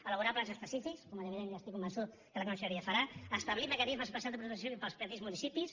elaborar plans específics com ja estic convençut que la conselleria farà establir mecanismes especials de protecció civil per als petits municipis